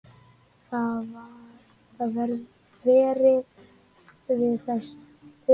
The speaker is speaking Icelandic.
Þið varið við þessu?